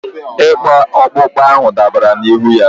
ịkpụ akpụkpọ ahụ dabara n'ihu ya.